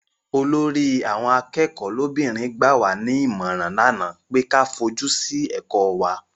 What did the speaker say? Olórí àwọn akẹ́kọ̀ọ́ lóbìnrin gbà wá ní ìmọ̀ràn lánàá pé ka fojú sí ẹ̀kọ́ wa.